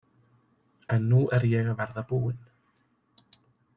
En nú er ég að verða búin.